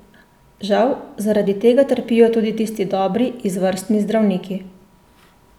Žal, zaradi tega trpijo tudi tisti dobri, izvrstni zdravniki.